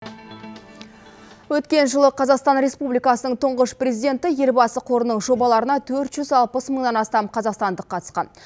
өткен жылы қазақстан республикасының тұңғыш президенті елбасы қорының жобаларына төрт жүз алпыс мыңнан астам қазақстандық қатысқан